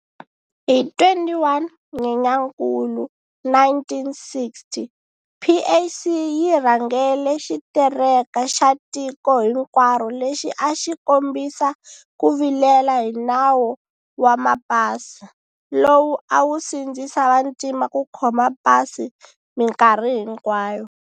Hi 21 Nyenyankulu 1960, PAC yi rhangele xitereka xa tiko hinkwaro lexi a xi kombisa ku vilela hi nawo wa Mapasi, lowu a wu sindzisa vantima ku khoma Pasi minkarhi hinkwayo.